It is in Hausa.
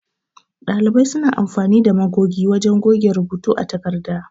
Ɗalibai suna amfani da magogi wajan goge rubuta a takarda.